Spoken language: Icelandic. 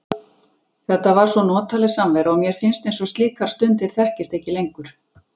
Þetta var svo notaleg samvera og mér finnst eins og slíkar stundir þekkist ekki lengur.